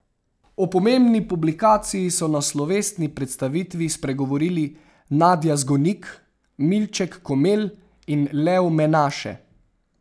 O pomembni publikaciji so na slovesni predstavitvi spregovorili Nadja Zgonik, Milček Komelj in Lev Menaše.